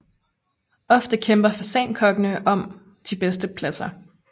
Ofte kæmper fasankokkene om de bedste pladser